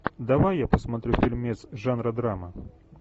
давай я посмотрю фильмец жанра драма